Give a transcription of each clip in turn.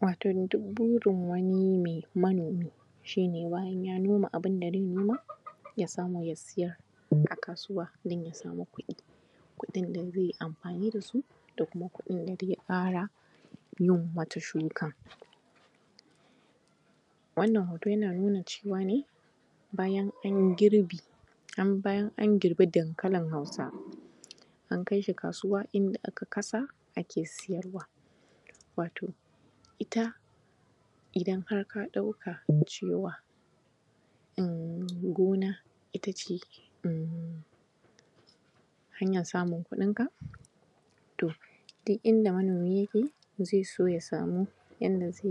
Wato duk burin me wato manomi shi ne bayan ya noma abunda ze noma, ya samu ya siyar a kasuwa, don ya samu kuɗi kuɗin da ze yi amfani da su, da kuma kuɗin da ze ƙara yin wata shukan. Wannan hoto yana nuna cewa ne bayan an yi girbi, bayan an girba dankalin Hausa an kai shi kasuwa inda aka kasa ake siyarwa. Wato ita, idan har ka ɗauka cewa gona ita ce hanyar kuɗinka, to duk inda manomi yake, ze so ya samu inda ze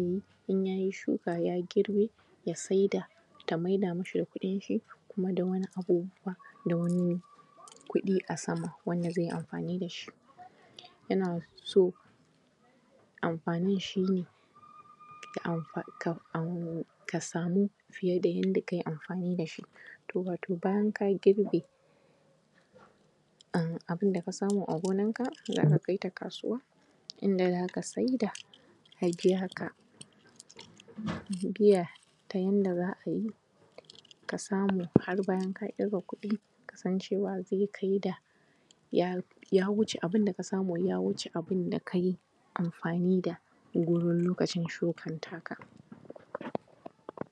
in ya yi shuka, ya girbe, ya saida ya maida mu shi da kuɗin shi, da kuma wani abu, kuma da wani kuɗi a sama, wanda ze yi amfani da shi. Yana so amfanin shi yakan ka samu fiye da yanda ka yi amfani da shi. To ba, bayan ka girbe abunda ka samu a gonanka, za ka kai ta kasuwa, inda za ka saida, a biya ka. Biya ta yanda za a yi, ka samu har bayan ka ƙirga kuɗi, ka san cewa ze kai da ya wuce abunda ka samu, ya wuce abunda ka yi amfani da shi a goron lokacin shukanka.